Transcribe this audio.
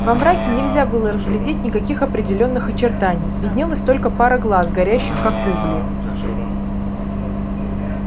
во мраке нельзя было разглядеть никаких определённых очертаний виднелась только пара глаз горящих как угли